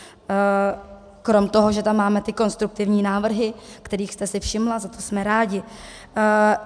Kromě toho, že tam máme ty konstruktivní návrhy, kterých jste si všimla, za to jsme rádi.